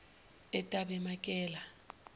etabemakela